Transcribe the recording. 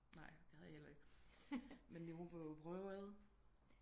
Nej det havde jeg heller ikke men vi må jo prøve ad